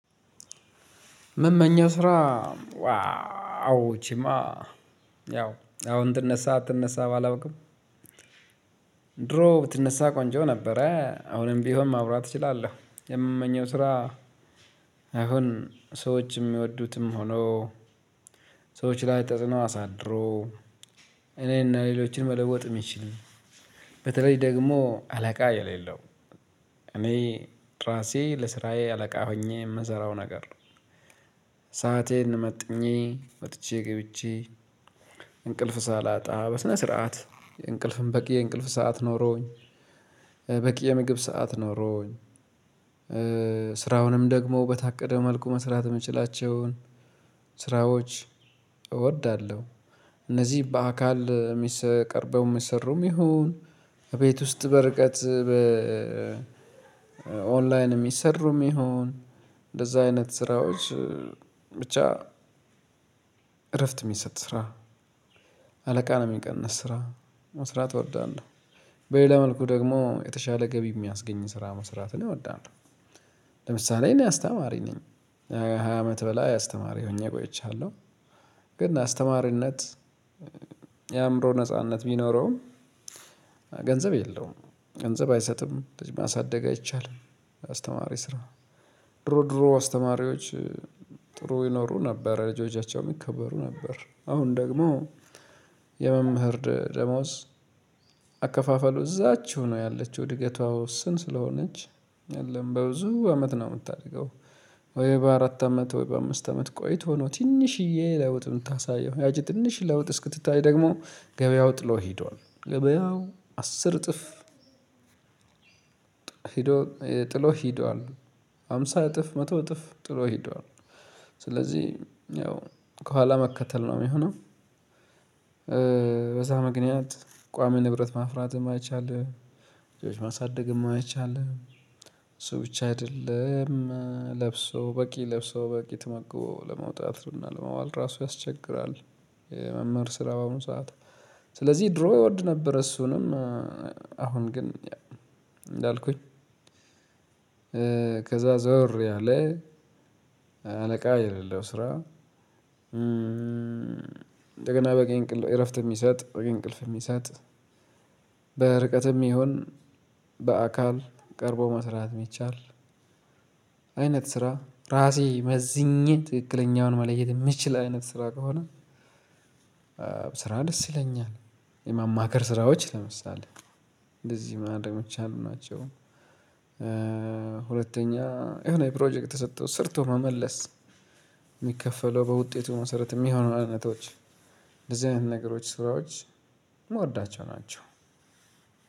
ምመኘው ስራ ዋው ይቺማ ያው አሁን ትነሳ አትነሳ ባላውቅም። ድሮ ብትነሳ ቆንጆ ነበረ አሁንም ቢሆን ማውራት እችላለሁ። የምመኘው ስራ አሁን ሰዎችም የሚወዱትም ሆኖ ሰዎች ላይ ተጽዕኖ አሳድሮ። እኔና ሌሎችን መለወጥ የሚችል በተለይ ደግሞ አለቃ የሌለው እኔ ራሴ ለስራዬ አለቃ ሆኜ የምሰራው ነገር። ሰአቴን መጥኜ ወጥቼ ገብቼ እንቅልፍ ሳላጣ በስነ ስርዓት የእንቅልፍን በቂ የእንቅልፍ ሰዓት ኖሮኝ በቂ የምግብ ሰዓት ኖሮኝ። ስራውንም ደግሞ በታቀደ መልኩ መስራት የምችላቸውን ስራዎች እወዳለሁ። እነዚህ በአካል የሚሰቀርበው የሚሰሩም ይሁን እቤት ውስጥ በርቀት በ ኦንላይን የሚሰሩም ይሁን እንደዛ አይነት ስራዎች። ብቻ እረፍት የሚሰጥ ስራ አለቃ ነው የሚቀንስ ስራ መስራት እወዳለሁ። በሌላ መልኩ ደግሞ የተሻለ ገቢ የሚያስገኝ ስራ መስራትን እወዳለሁ። ለምሳሌ እኔ አስተማሪ ነኝ ሃያ አመት በላይ አስተማሪ ሆኜ ቆይቻለሁ። ግን አስተማሪነት የአእምሮ ነጻነት ቢኖረውም። ገንዘብ የለውም ገንዘብ አይሰጥም ልጅ ማሳደግ አይቻልም። አስተማሪ ስራ ድሮ ድሮ አስተማሪዎች ጥሩ ይኖሩ ነበር ልጆቻቸውም ይከበሩ ነበር አሁን ደግሞ። የመምህር ደሞዝ አከፋፈሉ እዛችው ነው ያለችው እድገቷ ውስን ስለሆነች የለም በብዙ አመት ነው የምታደገው። ወይ በአራት አመት ወይ በአምስት አመት ቆይቶ ነው ትንሽዬ ለውጥ የምታሳየው ያቺ ትንሽ ለውጥ እስክትታይ ደግሞ ገበያው ጥሎ ሄዷል ገበያው አስር እጥፍ። ሄዶ ጥሎ ሄዷል ሃምሳ እጥፍ መቶ እጥፍ ጥሎ ሄዷል። ስለዚህ ያው ከኋላ መከተል ነው የሚሆነው። በዛ ምክንያት ቋሚ ንብረት ማፍራትም አይቻልም። ልጆች ማሳደግም አይቻልም። እሱ ብቻ አይደለም ለብሶ በቂ ለብሶ በቂ ተመግቦ ለመውጣት እና ለመዋል ራሱ ያስቸግራል። የመምህር ስራ በአሁን ሰዓት ስለዚህ ድሮ ይወድ ነበር እሱንም። አሁን ግን እንዳልኩኝ ከዛ ዞር ያለ አለቃ የሌለው ስራ። እንደገና በቂ እንቅልፍ እረፍት የሚሰጥ በቂ እንቅልፍ የሚሰጥ በርቀትም ይሁን በአካል ቀርቦ መስራት የሚቻል አይነት ስራ ራሴ መዝኜ ትክክለኛውን መለየት የምችል አይነት ስራ ከሆነ። ስራ ደስ ይለኛል። የማማከር ስራዎች ለምሳሌ እንደዚህ ማንም የሚቻል ናቸው። ሁለተኛ የሆነ ፕሮጀክት ተሰጥቶ ሰርቶ መመለስ የሚከፈለው በውጤቱ መሰረት የሚሆኑ አይነቶች። እንደዚህ አይነት ነገሮች ስራዎች ምወዳቸው ናቸው።